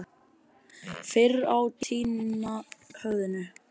Fyrr týna höfðinu.